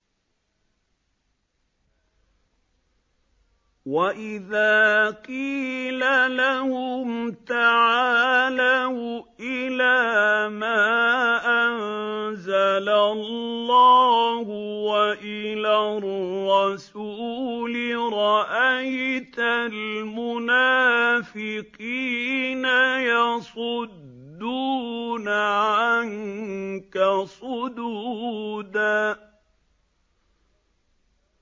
وَإِذَا قِيلَ لَهُمْ تَعَالَوْا إِلَىٰ مَا أَنزَلَ اللَّهُ وَإِلَى الرَّسُولِ رَأَيْتَ الْمُنَافِقِينَ يَصُدُّونَ عَنكَ صُدُودًا